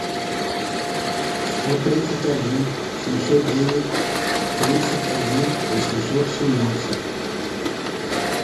сто тридцать один семьсот девять тридцать один восемьсот семнадцать